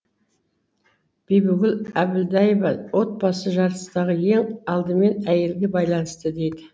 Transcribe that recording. бибігүл әбілдаева отбасы жарастағы ең алдымен әйелге байланысты дейді